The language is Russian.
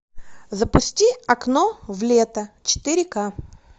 запусти окно в лето четыре к